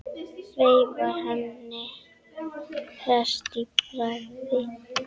Veifar henni hress í bragði.